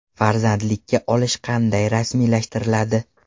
Farzandlikka olish qanday rasmiylashtiriladi?